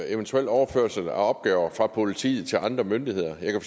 eventuel overførsel af opgaver fra politiet til andre myndigheder jeg kan